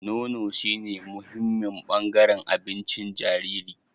Nono shine muhimmin bangaren abincin jariri.